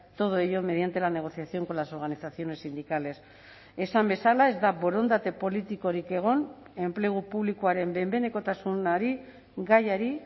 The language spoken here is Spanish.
todo ello mediante la negociación con las organizaciones sindicales esan bezala ez da borondate politikorik egon enplegu publikoaren behin behinekotasunari gaiari